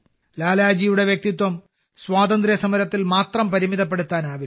ലാലാജിയുടെ വ്യക്തിത്വം സ്വാതന്ത്ര്യസമരത്തിൽ മാത്രം പരിമിതപ്പെടുത്താനാവില്ല